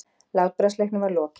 Látbragðsleiknum var lokið.